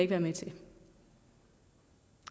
være med til